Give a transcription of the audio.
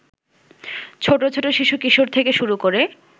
ছোট ছোট শিশু-কিশোর থেকে শুরু করে